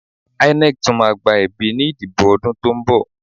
INEC tún máa gba ẹ̀bí ní ìdìbò ọdún tó ń bọ̀